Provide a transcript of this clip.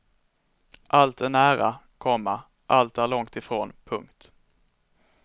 Allt är nära, komma allt är långtifrån. punkt